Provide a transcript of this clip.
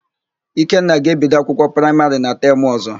Ikenna ga-ebido akwụkwọ praịmarị na temụ ọ̀zọ́.